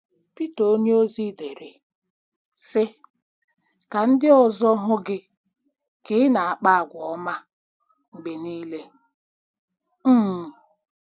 Pita onyeozi dere, sị: “ Ka ndị ọzọ hụ gị ka ị na-akpa àgwà ọma mgbe niile. um